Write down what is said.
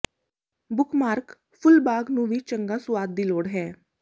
bookmark ਫੁੱਲ ਬਾਗ ਨੂੰ ਵੀ ਚੰਗਾ ਸੁਆਦ ਦੀ ਲੋੜ ਹੈ